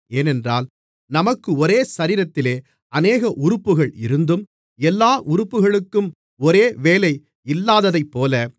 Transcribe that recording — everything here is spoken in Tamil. ஏனென்றால் நமக்கு ஒரே சரீரத்திலே அநேக உறுப்புகள் இருந்தும் எல்லா உறுப்புகளுக்கும் ஒரே வேலை இல்லாததைப்போல